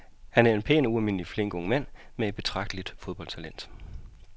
Han er en pæn og ualmindelig flink ung mand med et betragteligt fodboldtalent.